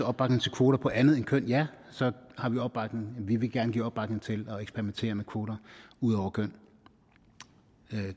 opbakning til kvoter på andet end køn ja vil vi gerne give opbakning til at eksperimentere med kvoter udover køn